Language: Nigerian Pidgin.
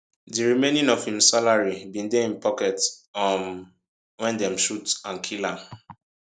di remaining of im salary bin dey im pocket um wen dem shoot and kill am